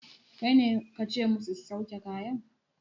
Kaine kace musu su sauke kayan?